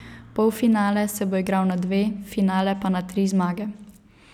Polfinale se bo igral na dve, finale pa na tri zmage.